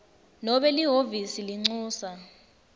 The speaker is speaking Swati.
nobe lihhovisi lelincusa